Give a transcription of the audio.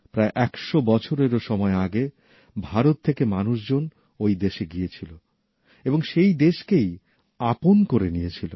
প্রায় একশ বছরেরও সময় আগে ভারত থেকে মানুষজন ওই দেশে গিয়েছিল এবং সেই দেশকেই আপন করে নিয়েছিল